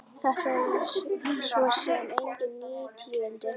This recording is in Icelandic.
Þetta eru svo sem engin ný tíðindi.